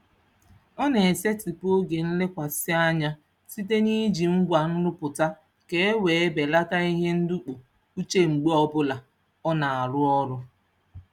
Ọ na-esetịpụ oge nlekwasị anya site n'iji ngwa nrụpụta ka e wee belata ihe ndọpụ uche mgbe ọbụla ọ na-arụ ọrụ.